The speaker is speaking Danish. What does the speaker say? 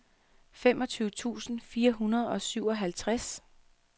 femogtyve tusind fire hundrede og syvoghalvtreds